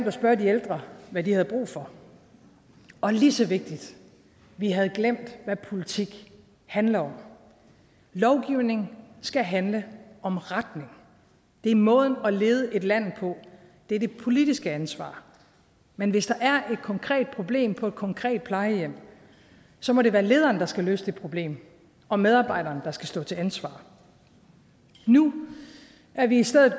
at spørge de ældre hvad de havde brug for og lige så vigtigt vi havde glemt hvad politik handler om lovgivning skal handle om retning det er måden at lede et land på det er det politiske ansvar men hvis der er et konkret problem på et konkret plejehjem må det være lederen der skal løse det problem og medarbejderen der skal stå til ansvar nu er vi i stedet